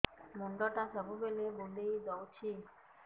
ମୁଣ୍ଡଟା ସବୁବେଳେ ବୁଲେଇ ଦଉଛି